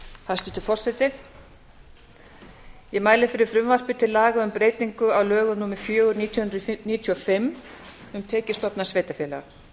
hæstvirtur forseti ég mæli fyrir frumvarpi til laga um breytingu á lögum númer fjögur nítján hundruð níutíu og fimm um tekjustofna sveitarfélaga